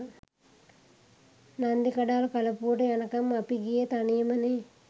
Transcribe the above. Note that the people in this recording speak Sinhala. නන්දිකඩාල් කලපුවට යනකම් අපි ගියේ තනියමනෙ.